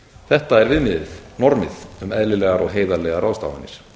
þetta er viðmiðið normið um eðlilegar og heiðarlegar ráðstafanir